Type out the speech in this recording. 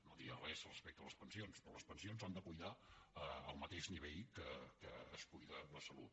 no diré res respecte a les pensions però les pensions s’han de cuidar al mateix nivell que es cuida la salut